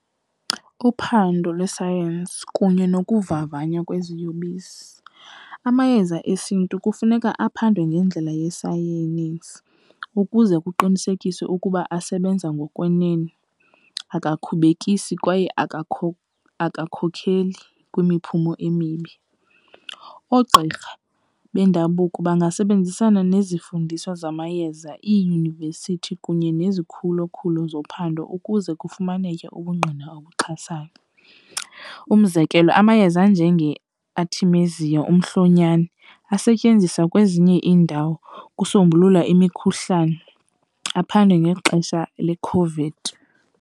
Uphando lwesayensi kunye nokuvavanywa kweziyobisi, amayeza esiNtu kufuneka aphathwe ngendlela yesayenisi ukuze kuqinisekiswe ukuba asebenza ngokwenene, akakhubekisi kwaye akakhokheli kwimiphumo emibi. Oogqirha bendabuko bangasebenzisana nezifundiswa zamayeza, iiyunivesithi kunye nezikhulokhulo zophando ukuze kufumaneke ubungqina obuxhasayo. Umzekelo, amayeza anjengeArtemisia, umhlonyana, asetyenziswa kwezinye iindawo ukusombulula imikhuhlane, aphandwe ngexesha leCOVID.